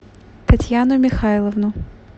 татьяну михайловну